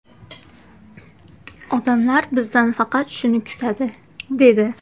Odamlar bizdan faqat shuni kutadi, – dedi.